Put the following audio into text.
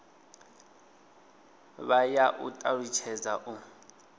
vha ya u talutshedza u